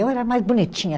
Eu era mais bonitinha.